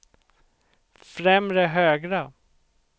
främre högra